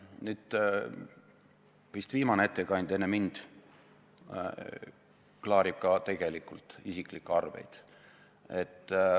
Nüüd, vist viimane ettekandja enne mind klaarib samuti tegelikult isiklike arveid.